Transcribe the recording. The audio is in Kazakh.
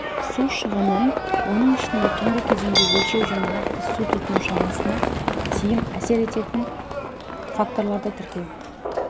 су шығынын оның ішінде түнгі кезеңде өлшеу және нақты су тұтыну шамасына тиім әсер ететін факторларды тіркеу